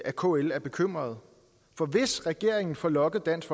at kl er bekymret for hvis regeringen får lokket dansk